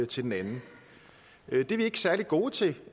til den anden det er vi ikke særlig gode til